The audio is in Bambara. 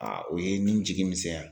o ye nin jigi misɛya .